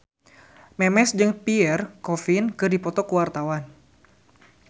Memes jeung Pierre Coffin keur dipoto ku wartawan